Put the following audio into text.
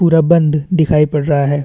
पूरा बंद दिखाई पड़ रहा है।